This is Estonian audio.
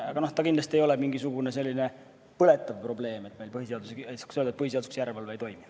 Aga kindlasti ei ole see mingisugune põletav probleem, et saaks öelda, et põhiseaduslikkuse järelevalve ei toimi.